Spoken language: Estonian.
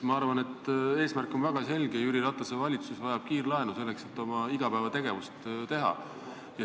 Ma arvan, et eesmärk on väga selge: Jüri Ratase valitsus vajab kiirlaenu, selleks et oma igapäevategevusi teha.